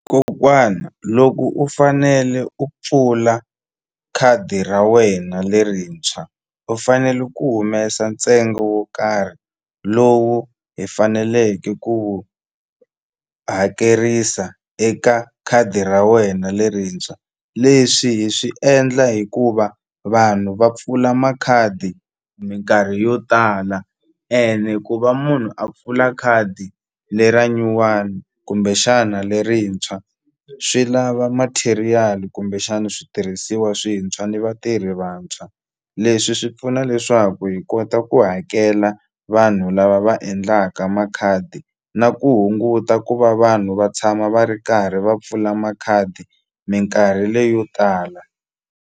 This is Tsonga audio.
Kokwana loko u fanele u pfula khadi ra wena lerintshwa u fanele ku humesa ntsengo wo karhi lowu hi faneleke ku wu hakerisa eka khadi ra wena lerintshwa leswi hi swi endla hikuva vanhu va pfula makhadi minkarhi yo tala ene ku va munhu a pfula khadi le ra nyuwani kumbe xana lerintshwa swi lava material kumbexani switirhisiwa swintshwa ni vatirhi vantshwa leswi swi pfuna leswaku hi kota ku hakela vanhu lava va endlaka makhadi na ku hunguta ku va vanhu va tshama va ri karhi va pfula makhadi minkarhi leyo tala.